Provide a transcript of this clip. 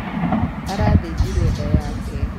Arathĩnjirwo nda yake.